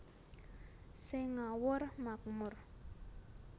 Sing ngawur makmur